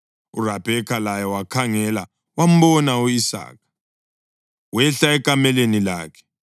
URabheka laye wakhangela wambona u-Isaka. Wehla ekameleni lakhe